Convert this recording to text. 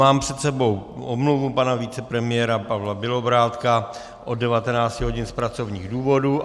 Mám před sebou omluvu pana vicepremiéra Pavla Bělobrádka od 19 hodin z pracovních důvodů.